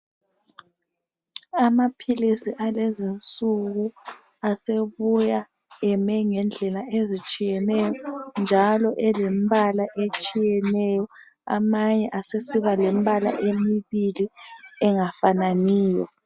Amaphilisi alezi nsuku asebuya eme ngendlela ezitshiyeneyo njalo elembala etshiyeneyo, amanye asesiba lembala emibili engafananiyo.